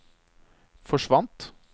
forsvant